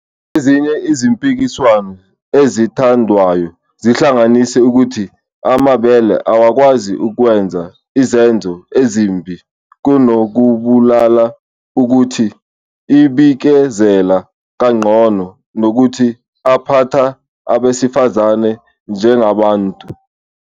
Ezinye izimpikiswano ezithandwayo zihlanganisa ukuthi amabhele awakwazi ukwenza izenzo ezimbi kunokubulala, ukuthi abikezela kangcono, nokuthi aphatha abesifazane njengabantu.